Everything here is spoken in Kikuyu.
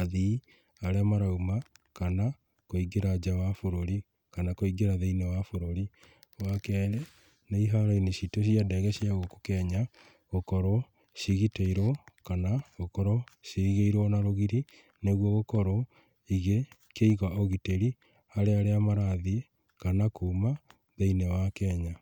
athii, arĩa marauma kana, kũingĩra nja wa bũrũri, kana kũingra thĩiniĩ wa bũrũri. Wa kerĩ, nĩ iharo-inĩ citu cia ndege cia gũkũ Kenya, gũkorwo cigitĩirwo kana gũkorwo, cirigĩirwo na rũgiri, nĩguo gũkorwo igĩkĩiga ũgitĩrĩ harĩa arĩa marathiĩ kana kuma thĩiniĩ wa Kenya.